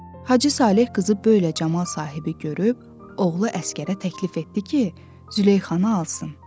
Hacı Saleh qızı belə camal sahibi görüb oğlu Əsgərə təklif etdi ki, Züleyxanı alsın.